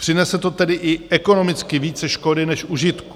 Přinese to tedy i ekonomicky více škody než užitku.